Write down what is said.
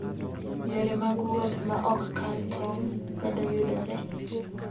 Yore mag wuoth ma ok kal tong' medo yudore.